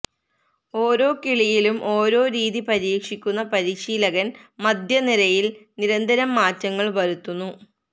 ഓരോ കളിയിലും ഓരോ രീതി പരീക്ഷിക്കുന്ന പരിശീലകന് മധ്യനിരയില് നിരന്തരം മാറ്റങ്ങള് വരുത്തുന്നു